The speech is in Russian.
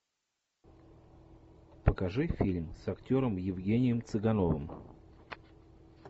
покажи фильм с актером евгением цыгановым